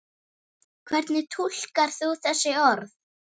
Hvernig túlkar þú þessi orð?